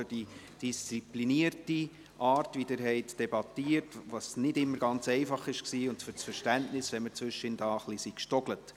Ich möchte mich ebenfalls für die disziplinierte Art bedanken, wie sie debattiert haben, was nicht immer ganz einfach war, und für das Verständnis, wenn wir dabei zwischendurch etwas gestolpert sind.